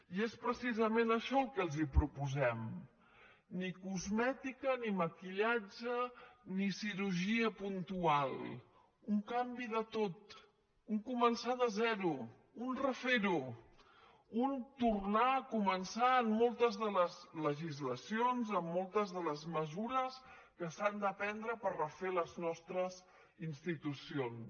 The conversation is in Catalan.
i és precisament això el que els proposem ni cosmètica ni maquillatge ni cirurgia puntual un canvi de tot un començar de zero un refer ho un tornar a començar en moltes de les legislacions en moltes de les mesures que s’han de prendre per refer les nostres institucions